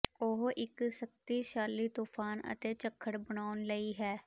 ਉਹ ਇੱਕ ਸ਼ਕਤੀਸ਼ਾਲੀ ਤੂਫ਼ਾਨ ਅਤੇ ਝੱਖੜ ਬਣਾਉਣ ਲਈ ਹੈ